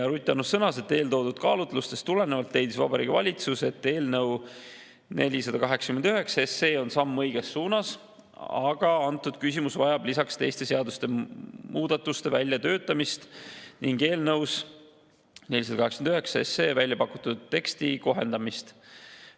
Ruth Annus sõnas, et eeltoodud kaalutlustest tulenevalt leidis Vabariigi Valitsus, et eelnõu 489 on samm õiges suunas, aga kogu see küsimus vajab lisaks teiste seaduste muudatuste väljatöötamist ning eelnõus 489 välja pakutud teksti kohendamist.